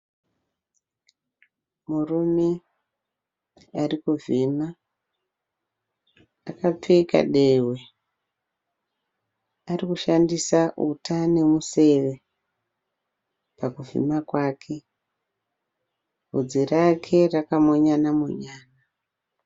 Murume ari kuvhima, akapfeka dehwe, arikushandisa uta nemuseve pakuvhima kwake. Bvudzi rake rakamonyana monyana.